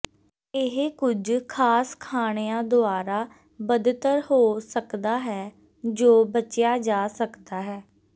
ਇਹ ਕੁਝ ਖਾਸ ਖਾਣਿਆਂ ਦੁਆਰਾ ਬਦਤਰ ਹੋ ਸਕਦਾ ਹੈ ਜੋ ਬਚਿਆ ਜਾ ਸਕਦਾ ਹੈ